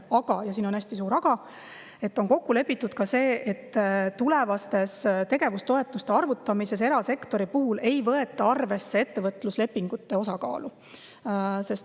Kuid siin on hästi suur aga: on kokku lepitud ka see, et tulevase tegevustoetuse arvutamisel ei võeta erasektori puhul arvesse ettevõtluslepingute osakaalu.